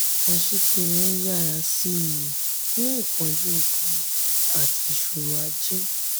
aṣíkiri ń yára sí i ní ìpọ́njú ogun àti ìṣòro ajé.